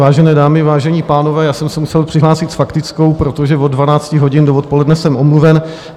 Vážené dámy, vážení pánové, já jsem se musel přihlásit s faktickou, protože od 12 hodin do odpoledne jsem omluven.